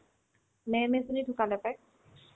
ma'am এজনী ঢুকালে পাই